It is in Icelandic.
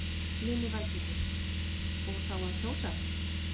Lillý Valgerður: Og þá að kjósa?